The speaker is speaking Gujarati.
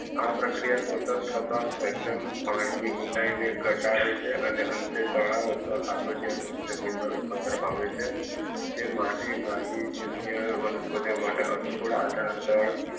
આ પ્રક્રિયા સતત થતા પાણી ની ઊંડાઈ ને ઘટાડે છે અને અંતે તળાવ અથવા ખાબોચિયા જમીનમાં રૂપાંતર પામે છે તે માટી વાહી વનસ્પતિઓ માટે અનુકૂળ